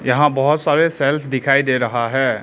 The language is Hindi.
यहां बहोत सारे सेल्फ दिखाई दे रहा है।